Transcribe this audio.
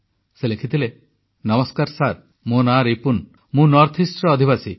ସେ ଲେଖିଥିଲେ ନମସ୍କାର ସାର୍ ମୋ ନାଁ ରିପୁନ ମୁଁ ଉତ୍ତରପୂର୍ବାଂଚଳର ଅଧିବାସୀ